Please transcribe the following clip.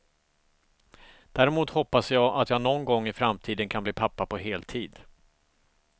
Däremot hoppas jag att jag någon gång i framtiden kan bli pappa på heltid.